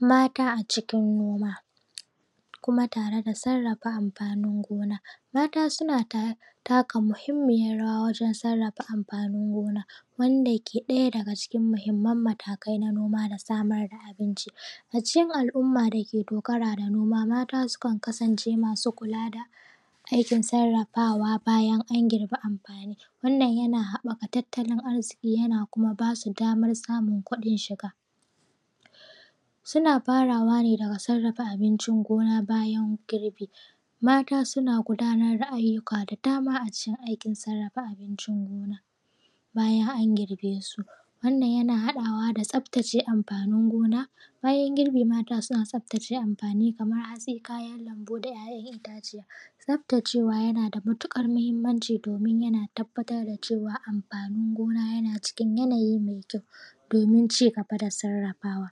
Mata a cikin gona kuma da sarrafa amfanin gona. Mata suna taka muhinmiyan rawa wajan sarrafa amfanin gona, wanda ke ɗaya daga cikin muhimman matakan noma da samar da abinci a cikin al’umma dake dogara da noma. Mata sukan kasance masu kula da aikin sarrafawa bayan an girbe amfani. Wannan yana haɓɓaka tattalin arziki yana kuma ba su damar samun kuɗin shiga. suna farawa ne daga sarrafa abincin gona bayan girbi. Mata suna gudanar da aiyuka da dama a cikin aikin sarrafa abincin gona bayan an girbesu. Wannan yana haɗawa da tsaftace amfanin gona bayan girbi ma Mata suna tsaftace amfani kamar hatsi. kayan lambu, da ‘ya’yan itaciya. Tsaftacewa yana da matuƙar muhimmanci domin yana tabbatar da cewa amfanin gona yana cikin yanayi mai kyau domin cigaba da sarrafawa.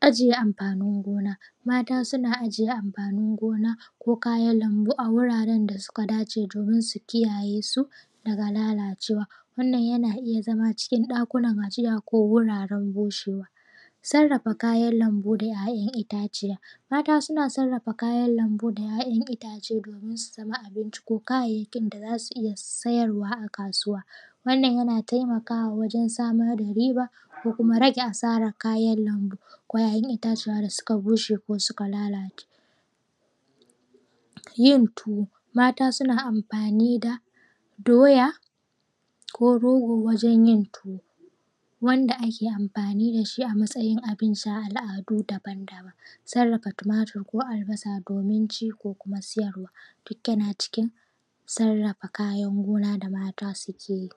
Ajiye amfanin gona. Mata suna ajiye amfanin gona ko kayan lambu a guraran da suka dace domin su kiyayesu daga lalacewa. Wannan yana iya zama cikin ɗakunan ajiya ko guraren bushewa. Sarrafa kayan lambu da ‘ya’yan ita ciya. mata suna sarrafa kayan lambu da ‘ya’yan itace domin su zama abinci ko kayayyakin da za su iya sayarwa a kasuwa. Wannan yana taimaka wa wajan samar da riba da kuma rage asarar kayan lambu ko ‘ya’yan itaciya da suka bushe ko suka lalace. Yin tuwo mata suna amfani da doya ko rogo wajen yin tuwo wanda ake amfani da shi a matsayin abincin a al’adu daban daban. Sarrafa tumatur ko albasa domin ci ko kuma siyarwa duk yana cikin sarrafa kayan gona da mata suke yi